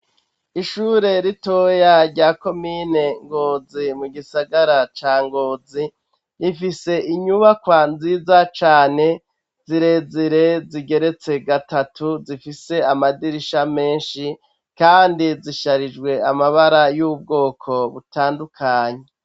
Ishure ritoya ryako mine ngozi mu gisagara ca ngozi rifise inyubakwa nziza cane zirezire zigeretse gatatu zifise amadirisha menshi, kandi zisharijwe amabara y'ubwoko butandukanyi.